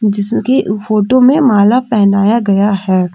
जिसकी फोटो में माला पहनाया गया है।